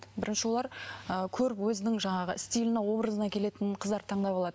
бірінші олар ы көріп өзінің жаңағы стиліне образына келетін қыздарды таңдап алады